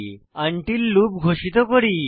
until loop ঘোষিত করি